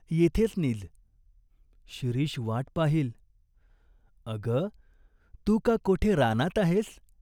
येथेच नीज." "शिरीष वाट पाहील." "अग, तू का कोठे रानात आहेस ?